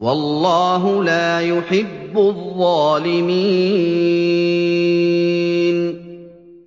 وَاللَّهُ لَا يُحِبُّ الظَّالِمِينَ